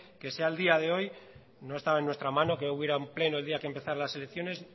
que sea el día de hoy no estaba en nuestra mano que hubiera un pleno el día que empezara las elecciones